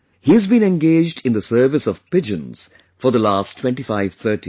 He has been engaged in the service of pigeons for the last 2530 years